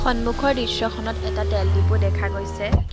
সন্মুখৰ দৃশ্যখনত এটা তেল দিপু দেখা গৈছে।